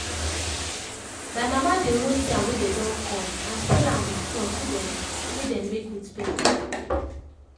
my mama dey roast yam wey dey don cut and sell am with sauce wey dem wey dem make with pepper